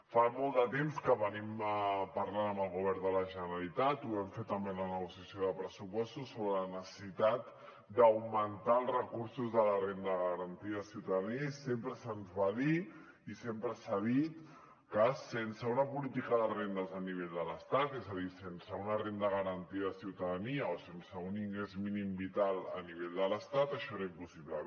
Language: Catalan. fa molt de temps que parlem amb el govern de la generalitat ho vam fer també en la negociació de pressupostos sobre la necessitat d’augmentar els recursos de la renda garantida de ciutadania i sempre se’ns va dir i sempre s’ha dit que sense una política de rendes a nivell de l’estat és a dir sense una renda garantida de ciutadania o sense un ingrés mínim vital a nivell de l’estat això era impossible